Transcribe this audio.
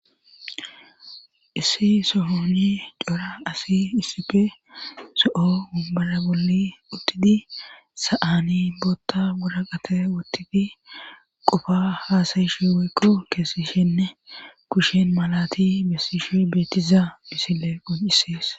issi sohoni cora asi issipi so'o umbala bolli uttidi sa'aani bootta buraqate wuttidi qofa haasayishi weykko keessishenne kushen malati bessishi beettiza misile qoncisees